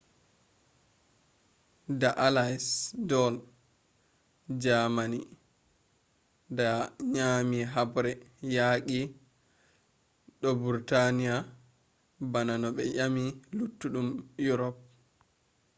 da allies do’i jamani da nyami haɓre yaqi do britain bana no ɓe nyami luttuɗum erop